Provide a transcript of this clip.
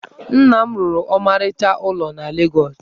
Nna m rụrụ ọmarịcha ụlọ na Legọs.